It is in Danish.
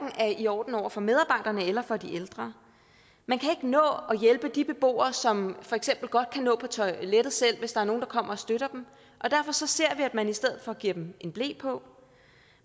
i orden over for medarbejderne eller for de ældre man kan ikke nå at hjælpe de beboere som for eksempel godt kan gå på toilettet selv hvis der er nogen der kommer og støtter dem derfor ser at man i stedet for giver dem en ble på